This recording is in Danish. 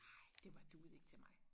Nej det var duede ikke til mig